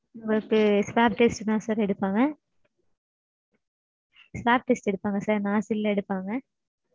உங்களுக்கு swab test தா sir எடுப்பாங்க. swab test எடுப்பாங்க sir nostril ல எடுப்பாங்க